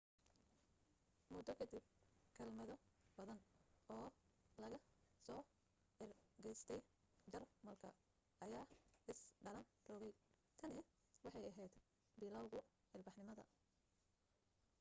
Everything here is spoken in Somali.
muddo ka dib kelmado badan oo laga soo ergistay jarmalka ayaa is dhalan rogay tani waxay ahayd bilowguu ilbaxnimada